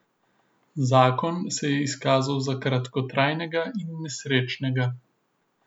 Zakon se je izkazal za kratkotrajnega in nesrečnega.